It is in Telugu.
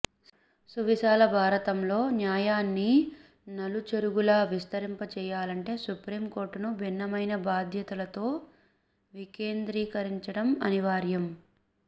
సువిశాల భారతంలో న్యాయాన్ని నలు చెరగులా విస్తరింపజేయాలంటే సుప్రీంకోర్టును భిన్నమైన బాధ్యతలతో వికేంద్రీకరించడం అనివార్యం